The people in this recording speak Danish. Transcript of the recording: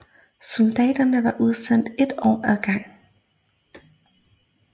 Soldaterne var udsendt ét år ad gangen